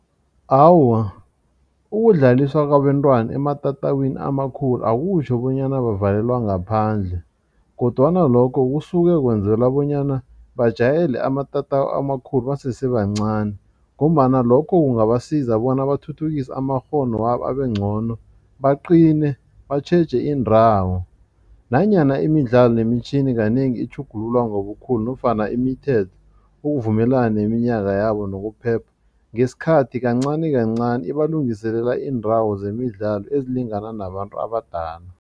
Awa, ukudlaliswa kwabentwana ematatawini amakhulu akutjho bonyana bavalelwa ngaphandle kodwana lokho kusuke kwenzela bonyana bajayele amatatawu amakhulu basese bancani ngombana lokho kungabasiza bona bathuthukise amakghono wabo abengcono baqine batjheje indawo nanyana imidlalo nemitjhini kanengi itjhugululwa ngobukhulu nofana imithetho ukuvumelana neminyaka yabo nokuphepha ngesikhathi kancanikancani ibalungiselela iindawo zemidlalo ezilingana nabantu abadala.